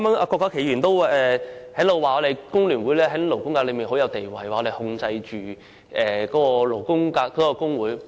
郭家麒議員剛才也說工聯會在勞工界的地位甚高，指我們控制勞工界的工會。